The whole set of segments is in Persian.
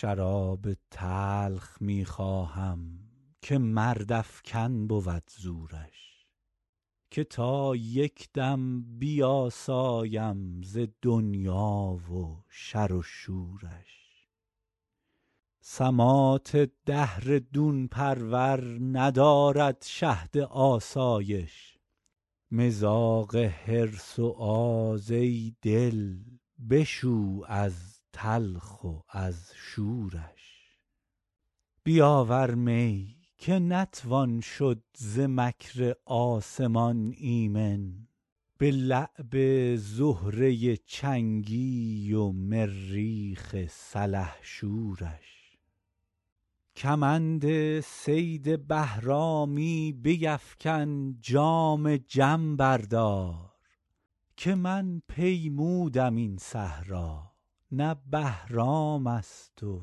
شراب تلخ می خواهم که مردافکن بود زورش که تا یک دم بیاسایم ز دنیا و شر و شورش سماط دهر دون پرور ندارد شهد آسایش مذاق حرص و آز ای دل بشو از تلخ و از شورش بیاور می که نتوان شد ز مکر آسمان ایمن به لعب زهره چنگی و مریخ سلحشورش کمند صید بهرامی بیفکن جام جم بردار که من پیمودم این صحرا نه بهرام است و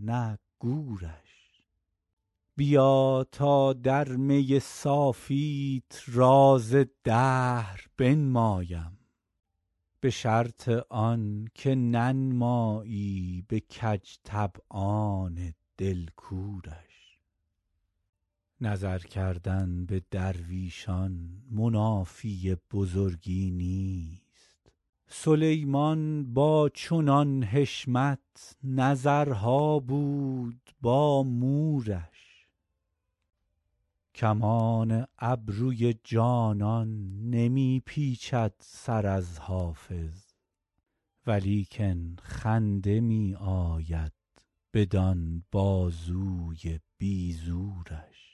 نه گورش بیا تا در می صافیت راز دهر بنمایم به شرط آن که ننمایی به کج طبعان دل کورش نظر کردن به درویشان منافی بزرگی نیست سلیمان با چنان حشمت نظرها بود با مورش کمان ابروی جانان نمی پیچد سر از حافظ ولیکن خنده می آید بدین بازوی بی زورش